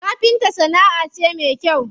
Kafinta sana'a ce me kyau.